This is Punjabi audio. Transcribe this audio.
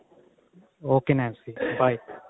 ok Nancy by